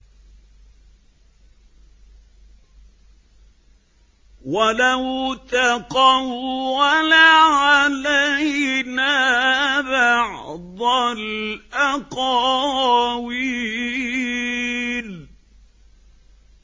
وَلَوْ تَقَوَّلَ عَلَيْنَا بَعْضَ الْأَقَاوِيلِ